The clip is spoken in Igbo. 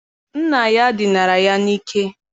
Nna ya ọ dinara ya n'ike?